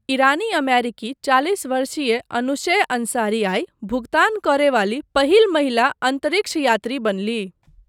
ईरानी अमेरिकी चालिस वर्षीय अनूशेह अंसारी आइ भुगतान करयवाली पहिल महिला अन्तरिक्ष यात्री बनलीह।